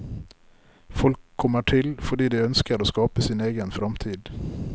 Folk kommer til fordi de ønsker å skape sin egen framtid.